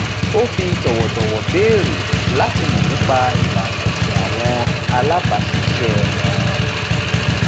ó fi tọwọ tọwọ béèrè láti mọ nípa ìlànà ẹsìn àwọn alábáṣiṣẹ wọn